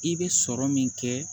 I bɛ sɔrɔ min kɛ